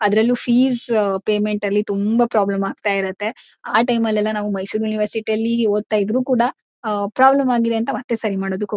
ಆದರಲ್ಲೂ fees payment ಅಲ್ಲಿ ತುಂಬ problem ಆಖ್ತ ಇರುತ್ತೆ. ಆ ಟೈಮ್ ಅಲ್ಲೆಲ್ಲ ಮೈಸೂರ್ ಯೂನಿವರ್ಸಿಟಿ ಯಲ್ಲಿ ಓತಾಯಿದ್ರು ಕೂಡ ಅ ಅ ಪ್ರಾಬ್ಲಮ್ ಆಗಿದೆ ಅಂತ ಮತ್ತೆ ಸರಿ ಮಾಡೋಕಕ್ಕೆ ಹೊ--